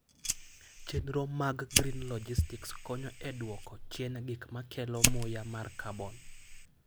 Chenro mag green logistics konyo e dwoko chien gik ma kelo muya mar carbon.